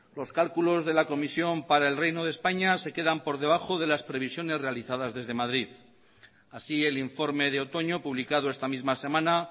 los cálculos de la comisión para el reino de españa se quedan por debajo de las previsiones realizadas desde madrid así el informe de otoño publicado esta misma semana